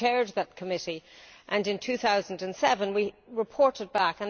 I chaired that committee and in 2007 we reported back.